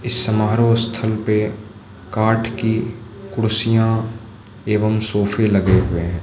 समारोह स्थल पे काठ की कुर्सियां एवं सोफे लगे हुए है।